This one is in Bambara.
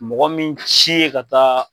Mɔgɔ min ci ye ka taa.